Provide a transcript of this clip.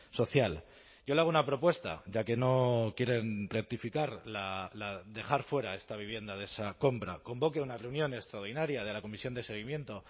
social yo le hago una propuesta ya que no quieren rectificar dejar fuera a esta vivienda de esa compra convoque una reunión extraordinaria de la comisión de seguimiento